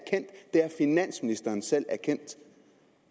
har finansministeren selv erkendt